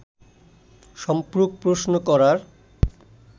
সম্পূরক প্রশ্ন করার